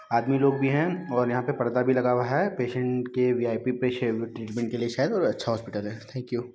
आदमी लोग भी है और यहाँ पे परदा भी लगा हुआ है। पेशेंट के विआईपि पेशेंट की ट्रीटमेंट शायद और अच्छा हॉस्पिटल हैं थेंक यु ।